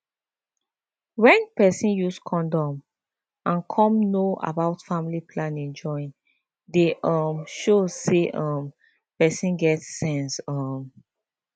wen peson use condom and come know about family planning join dey um show say um peson get sense um